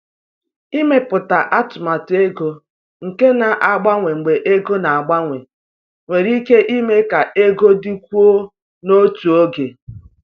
Ịmepụta atụmatụ ego nke na-agbanwe mgbe ego na-agbanwe nwere ike ime ka ego dịkwuo n’otu oge.